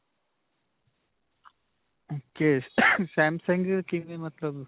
ok. samsung ਕਿਵੇਂ ਮਤਲਬ.